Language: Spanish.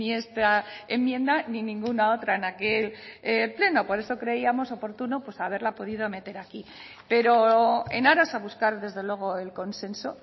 esta enmienda ni ninguna otra en aquel pleno por eso creíamos oportuno pues haberla podido meter aquí pero en aras a buscar desde luego el consenso